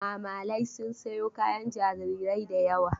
Mamalai sun sayo kayan jarirai da yawa.